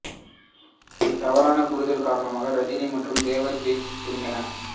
ஒரு தவறான புரிதல் காரணமாக ரஜினி மற்றும் தேவர் பிலிம்ஸ் பிரிந்தன